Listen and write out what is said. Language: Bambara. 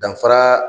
Danfara